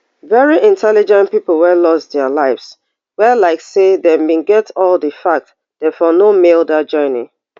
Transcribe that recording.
very intelligent pipo wey loss dia lives wey like say dem bin get all di facts dem for no male dat journey